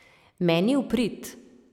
Meni v prid.